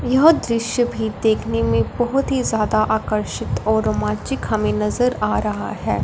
यह दृश्य भी देखने में बहोत ही ज्यादा आकर्षित और रोमांचित हमे नजर आ रहा है।